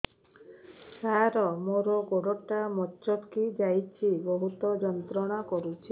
ସାର ମୋର ଗୋଡ ଟା ମଛକି ଯାଇଛି ବହୁତ ଯନ୍ତ୍ରଣା କରୁଛି